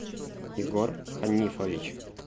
егор ханифович